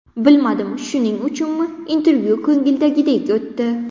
Bilmadim shuning uchunmi, intervyu ko‘ngildagidek o‘tdi.